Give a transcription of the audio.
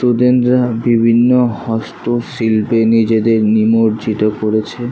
Student রা বিভিন্ন হস্তশিল্পে নিজেদের নিমজ্জিত করেছে।